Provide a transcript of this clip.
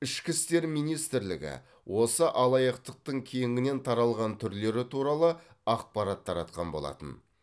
ішкі істер министрілігі осы алаяқтықтың кеңінен таралған түрлері туралы ақпарат таратқан болатын